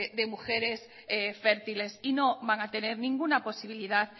de mujeres fértiles y no van a tener ninguna posibilidad